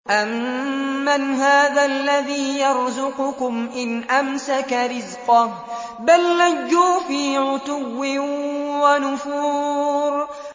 أَمَّنْ هَٰذَا الَّذِي يَرْزُقُكُمْ إِنْ أَمْسَكَ رِزْقَهُ ۚ بَل لَّجُّوا فِي عُتُوٍّ وَنُفُورٍ